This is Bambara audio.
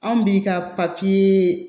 Anw bi ka papiye